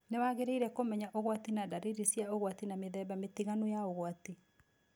Nĩ wangĩrĩaire kũmenya ũgwati na dariri cia ũgwati na mĩthemba mĩtiganu ya ũgwati.